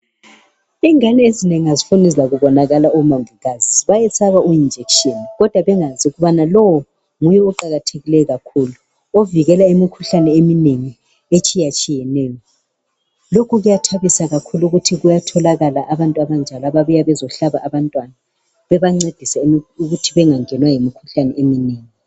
Ingane ezinengi azifuni kubonana labomongikazi bayesaba ijekiseni kodwa bengazi ukubana iqakathekile kakhulu ekuvikeleni imikhuhlane eminengi etshiyetshiyeneyo. Lokhu kuyathabisa kakhulu ukuthi kuyatholakala abantu abanjalo ababuya bezohlaba abantwana bebancedisa ukuthi bengangenwa yimikhuhlane eminengi.